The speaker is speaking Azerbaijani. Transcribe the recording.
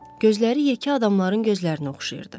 Gözləri yekə adamların gözlərinə oxşayırdı.